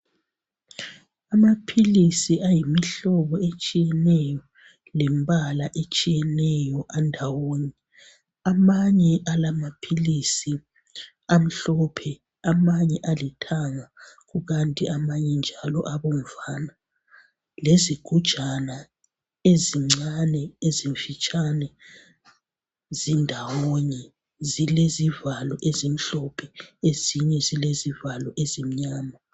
Amaphilisi ayimihlobo etshiyeneyo lembala etshiyeneyo andawonye. Amanye ala amaphilisi amhlophe amanye alithanga kukanti amanye njalo abomvana lezigujana ezincane ezimfitshane zindawonye zilezivalo ezimhlophe ezinye zilezivalo ezimnyama.